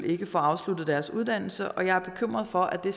ikke få afsluttet deres uddannelse og jeg er bekymret for at det